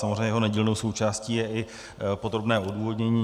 Samozřejmě jeho nedílnou součástí je i podrobné odůvodnění.